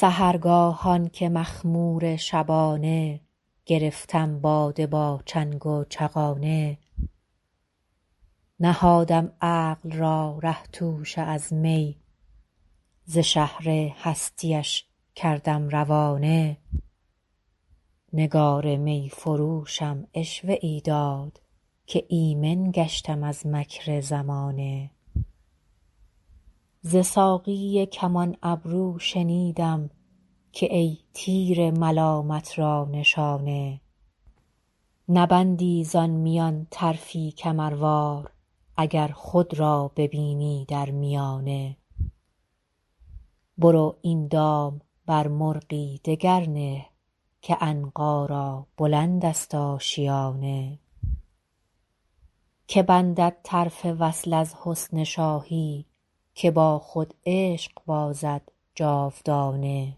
سحرگاهان که مخمور شبانه گرفتم باده با چنگ و چغانه نهادم عقل را ره توشه از می ز شهر هستی اش کردم روانه نگار می فروشم عشوه ای داد که ایمن گشتم از مکر زمانه ز ساقی کمان ابرو شنیدم که ای تیر ملامت را نشانه نبندی زان میان طرفی کمروار اگر خود را ببینی در میانه برو این دام بر مرغی دگر نه که عنقا را بلند است آشیانه که بندد طرف وصل از حسن شاهی که با خود عشق بازد جاودانه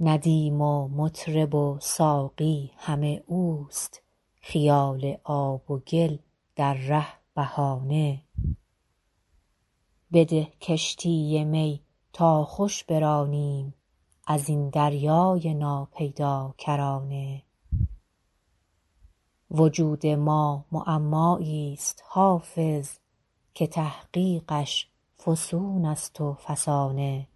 ندیم و مطرب و ساقی همه اوست خیال آب و گل در ره بهانه بده کشتی می تا خوش برانیم از این دریای ناپیداکرانه وجود ما معمایی ست حافظ که تحقیقش فسون است و فسانه